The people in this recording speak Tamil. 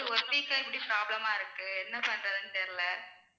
one week ஆ இப்படி problem ஆ இருக்கு என்ன பண்றதுன்னு தெரியலே